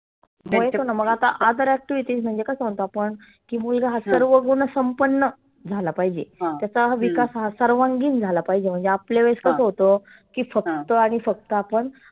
हो येतोना मग आता आदरातिर्थी म्हणजे कसं म्हणतो आपण. की मुलगा हा सर्वगुणसंपन्न झाला पाहिजे. त्याचा हा विकास सर्वांगिन झाला पाहीजे. म्हणजे आपल्या वेळेस कसं होतं? की फक्त आणि फक्त आपण